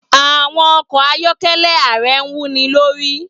Àwọn ọkọ̀ ayọ́kẹ́lẹ́ ààrẹ wúni lórí.